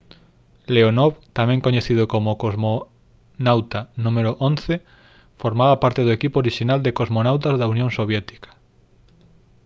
leonov tamén coñecido como cosmonauta n.º 11 formaba parte do equipo orixinal de cosmonautas da unión soviética